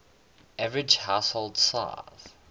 average household size